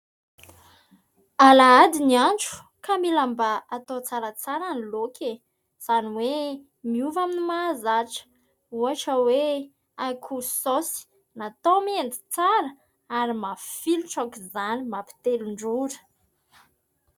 Alahady ny andro ka mila mba hatao tsaratsara ny laoka izany hoe miova amin'ny mahazatra. Ohatra hoe akoho saosy natao mendy tsara ary mafilotra aok'izany mampitelin-drora.